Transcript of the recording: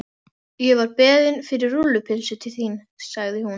Ég var beðin fyrir rúllupylsu til þín, sagði hún.